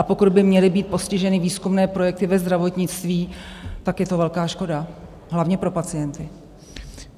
A pokud by měly být postiženy výzkumné projekty ve zdravotnictví, tak je to velká škoda - hlavně pro pacienty.